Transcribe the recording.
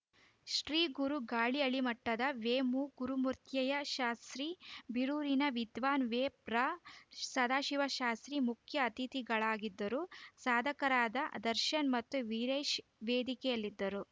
ಶ್ರೀಗುರು ಗಾಳಿಹಳ್ಳಿಮಠದ ವೇಮೂಗುರುಮೂರ್ತಯ್ಯಶಾಸ್ತ್ರಿ ಬೀರೂರಿನ ವಿದ್ವಾನ್‌ ವೇಬ್ರಸದಾಶಿವಶಾಸ್ತ್ರಿ ಮುಖ್ಯ ಅತಿಥಿಗಳಾಗಿದ್ದರು ಸಾಧಕರಾದ ದರ್ಶನ್‌ ಮತ್ತು ವೀರೇಶ್‌ ವೇದಿಕೆಯಲ್ಲಿದ್ದರು